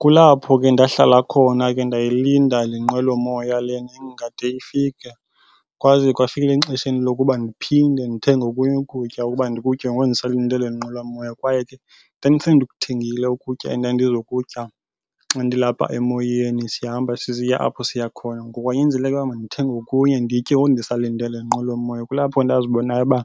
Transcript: Kulapho ke ndahlala khona ke ndayilinda le nqwelomoya le ingade ifike. Kwaze kwafika exesheni lokuba ndiphinde ndithenge okunye ukutya ukuba ndikutye ngoku ndisalinde le nqwelomoya. Kwaye ke ndandisendikuthengile ukutya endandizokutya xa ndilapha emoyeni, sihamba sisiya apho siya khona. Ngoku kwanyanzeleka ukuba mandithenge okunye nditye ngoku ndisalinde le nqwelomoya. Kulapho ndazibonayo uba,